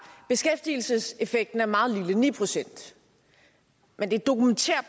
beskæftigelseseffekten er meget lille ni procent men det